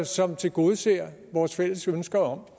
som tilgodeser vores fælles ønske om